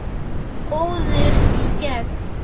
Góður í gegn.